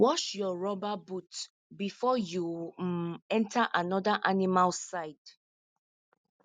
wash your rubber boot before you um enter another animal side